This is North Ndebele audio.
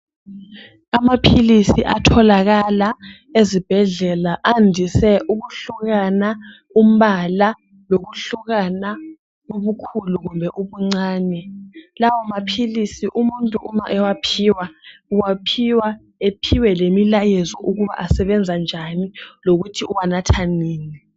Amaphilisi atholakala ezibhedlela adise ukuhlukwana umpala lokuhlukana ubukhulu kumbe ubuncane. Lawo maphilisi umuntu uma ewaphiwa, uwaphiwa aphiwe lemilayezo ukuthi asebenza njani lokuthi uwanatha nini.